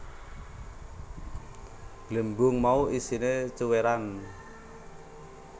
Glembung mau isiné cuwèran